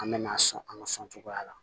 An me na sɔn an ka sɔn cogoya la